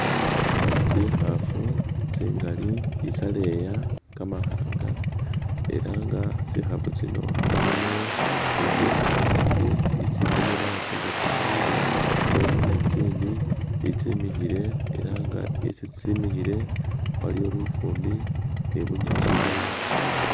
Tsihafu tsingali isyaleya kamahanga, ela nga tsihafu tsino Mulimo itsihale asi, itsikonele asi nga tsyalwile, mulimo ni tsindi itsimihile Era nga isi tsimihile waliwo lufumbi ni bunyasi ubwayoma.